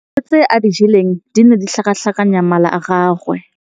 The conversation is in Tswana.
Dijô tse a di jeleng di ne di tlhakatlhakanya mala a gagwe.